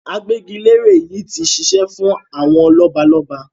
Agbẹ́gilére yìí ti ṣiṣẹ́ fún àwọn lọ́balọ́ba.